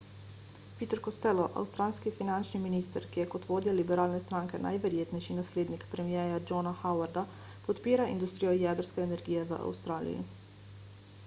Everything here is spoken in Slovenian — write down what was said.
peter costello avstralski finančni minister ki je kot vodja liberalne stranke najverjetnejši naslednik premierja johna howarda podpira industrijo jedrske energije v avstraliji